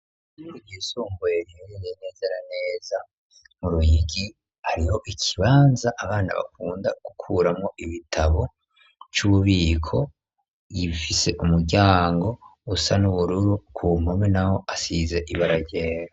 Iyisomboyeribirinenezera neza mu ruhigi hariho ikibanza abana bakunda gukuramwo ibitabo c'ububiko yimfise umuryango usa n'ubururu ku mpome na ho asiza ibararera.